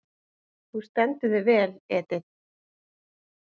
Þú stendur þig vel, Edit!